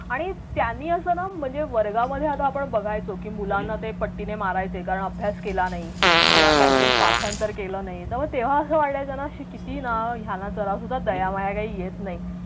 आणि त्यांनी असं ना म्हणजे वर्गामध्ये आता आपण बघायचो की मुलांना ते पट्टीने मारायचे कारण अभ्यास केला नाही किंवा काही तरी पाठांतर केलं नाही तर मग तेव्हा असं वाटायचं ना किती ना याना जरा सुद्धा काही दया माया येत नाही.